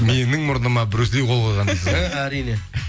менің мұрныма брюс ли қол қойға дейсіз ғой і әрине